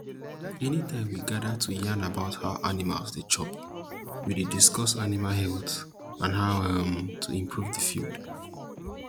anytime we gather to yarn about how animals dey chop we dey discuss animal health and how um to improve the field